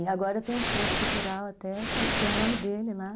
E agora tem um centro cultural até, que tem o nome dele lá.